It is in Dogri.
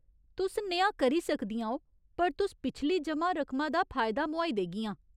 तुस नेहा करी सकदियां ओ, पर तुस पिछली जमा रकमा दा फायदा मोहाई देगियां।